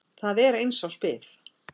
Þar er árs bið.